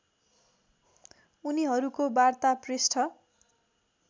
उनिहरूको वार्ता पृष्ठ